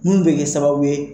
Munni bɛ kɛ sababu ye